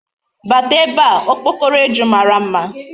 Bata ebe a! Okpokoro eju mara mma.